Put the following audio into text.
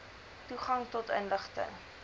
toegang tot inligting